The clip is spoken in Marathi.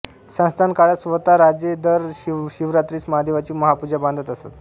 संस्थान काळात स्वत राजे दर शिवरात्रीस महादेवाची महापूजा बांधत असत